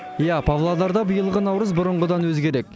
иә павлодарда биылғы наурыз бұрынғыдан өзгерек